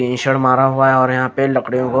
एशड मारा हुआ हैं और यहाँ पे लकड़ियों को--